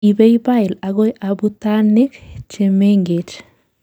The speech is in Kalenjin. ibei bile agoi abutanikguk chemengech